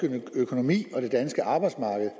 økonomi og det danske arbejdsmarked